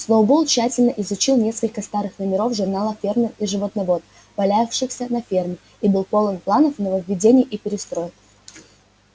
сноуболл тщательно изучил несколько старых номеров журнала фермер и животновод валявшихся на ферме и был полон планов нововведений и перестроек